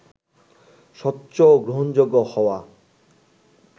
স্বচ্ছ ও গ্রহণযোগ্য হওয়া